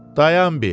Dayan bir.